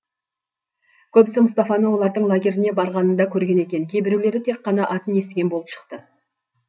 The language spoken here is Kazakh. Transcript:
көбісі мұстафаны олардың лагеріне барғанында көрген екен кейбіреулері тек қана атын естіген болып шықты